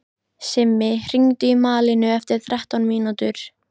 Simmi, hringdu í Malínu eftir þrettán mínútur.